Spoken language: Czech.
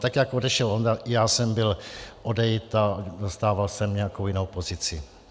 Tak jak odešel on, já jsem byl odejit a zastával jsem nějakou jinou pozici.